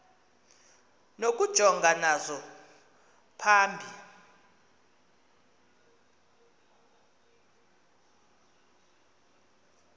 nokujongana nazo phambi